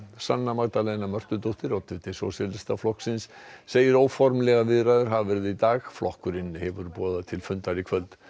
sanna Magdalena Mörtudóttir oddviti Sósíalistaflokksins í segir óformlegar viðræður hafa verið í dag flokkurinn hefur boðað til fundar í kvöld